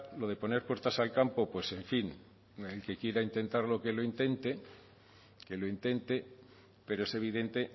lo de poner puertas al campo pues en fin el que quiera intentarlo que lo intente que lo intente pero es evidente